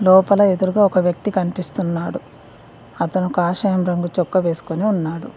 లోపల ఎదురుగా ఒక వ్యక్తి కనిపిస్తున్నాడు అతను కషాయం రంగు చొక్కా వేసుకొని ఉన్నాడు.